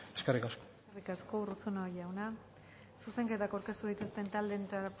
eskerrik asko eskerrik asko urruzuno jauna zuzenketak aurkeztu dituzten